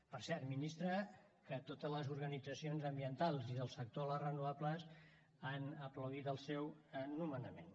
per cert ministra que totes les organitzacions ambientals i del sector de les renovables han aplaudit el seu nomenament